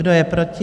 Kdo je proti?